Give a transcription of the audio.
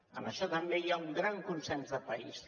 en això també hi ha un gran consens de país